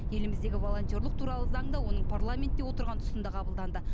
еліміздегі волонтерлық туралы заң да оның парламентте отырған тұсында қабылданды